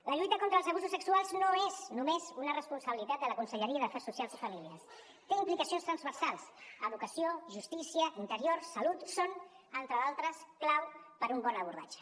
la lluita contra els abusos sexuals no és només una responsabilitat de la conselleria d’afers socials i famílies té implicacions transversals educació justícia interior salut són entre d’altres clau per un bon abordatge